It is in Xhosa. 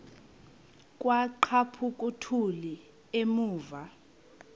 kwaqhaphuk uthuli evuma